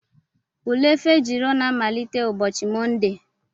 Ule Fejiro na-amalite ụbọchị Mọnde.